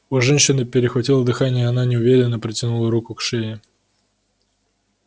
у женщины перехватило дыхание и она неуверенно протянула руку к шее